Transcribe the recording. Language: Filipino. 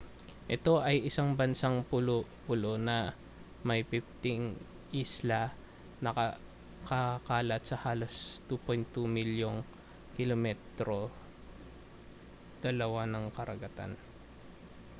ito ay isang bansang pulo-pulo na may 15 isla na nakakalat sa halos 2.2 milyong km 2 ng karagatan